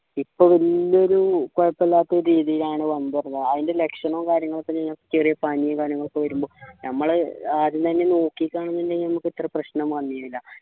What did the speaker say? ഇപ്പോ വലിയൊരു കുഴപ്പമില്ലാത്ത രീതിയിലാ ണ് വന്നത് ആയിൻ്റെ ലക്ഷണവും കാര്യങ്ങളൊക്കെ പ്രശ്നമാണ് പിന്നെ ചെറിയ പനി കാര്യങ്ങളൊക്കെ വരുമ്പോൾ നമ്മളെ ആദ്യം തന്നെ നോക്കി കാണുന്നുണ്ടെങ്കി നമുക്ക് ഇത്ര പ്രശ്നം വന്നീനില്ല